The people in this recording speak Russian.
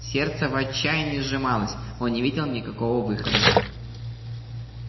сердце в отчаянии сжималось он не видел никакого выхода